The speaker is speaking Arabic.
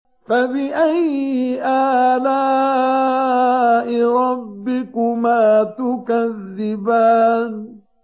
فَبِأَيِّ آلَاءِ رَبِّكُمَا تُكَذِّبَانِ